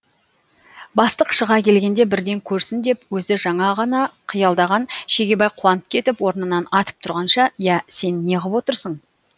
бастық шыға келгенде бірден көрсін деп өзі жаңа ғана қиялдаған шегебай қуанып кетіп орнынан атып тұрғанша иә сен неғып отырсың